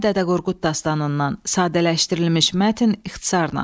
Kitabi-Dədə Qorqud dastanından sadələşdirilmiş mətn ixtisarla.